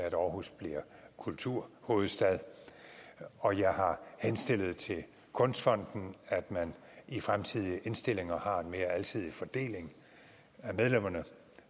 at aarhus bliver kulturhovedstad og jeg har henstillet til kunstfonden at man i fremtidige indstillinger har en mere alsidig fordeling af medlemmerne